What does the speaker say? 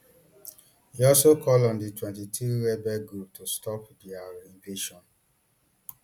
e also call on di mtwenty-three rebel group to stop dia invasion